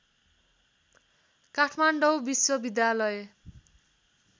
काठमाडौँ विश्वविद्यालय